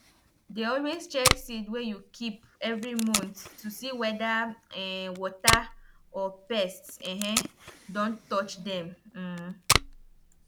dey always check seed wey you keep every month to see whether um water or pest um don touch dem um